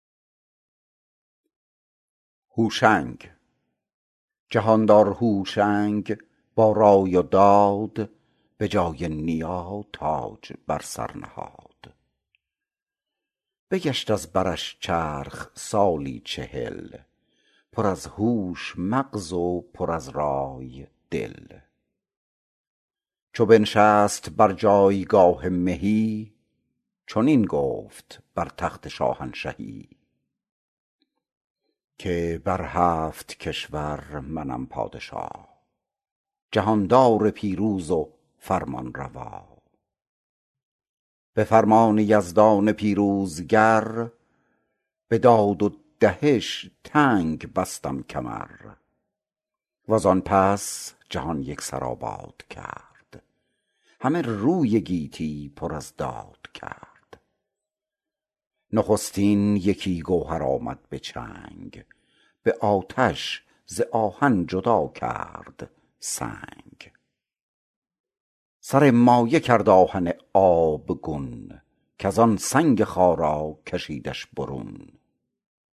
جهاندار هوشنگ با رای و داد به جای نیا تاج بر سر نهاد بگشت از برش چرخ سالی چهل پر از هوش مغز و پر از رای دل چو بنشست بر جایگاه مهی چنین گفت بر تخت شاهنشهی که بر هفت کشور منم پادشا جهاندار پیروز و فرمانروا به فرمان یزدان پیروزگر به داد و دهش تنگ بستم کمر و زان پس جهان یک سر آباد کرد همه روی گیتی پر از داد کرد نخستین یکی گوهر آمد به چنگ به آتش ز آهن جدا کرد سنگ سر مایه کرد آهن آبگون کز آن سنگ خارا کشیدش برون